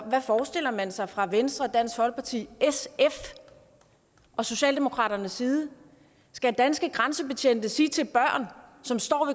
hvad forestiller man sig fra venstre dansk folkeparti sf og socialdemokratiets side skal danske grænsebetjente sige til børn som står